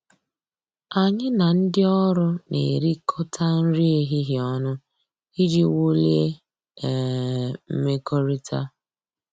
Anyị na ndị ọrụ na-erikọta nri ehihie ọnụ iji wulie um mmekọrịta